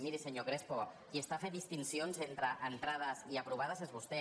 miri senyor crespo qui està fent distincions entre en·trades i aprovades és vostè